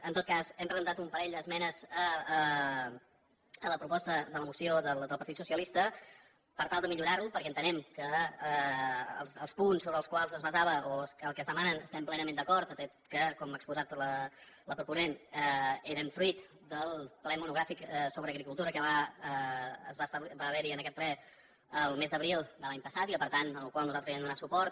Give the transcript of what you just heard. en tot cas hem presentat un parell d’esmenes a la proposta de la moció del partit socialista per tal de millorar la perquè entenem que els punts sobre els quals es basava o que es demanen hi estem plenament d’acord atès que com ha exposat la proponent eren fruit del ple monogràfic sobre agricultura que va haver hi en aquest ple el mes d’abril de l’any passat i per tant al qual nosaltres vam donar suport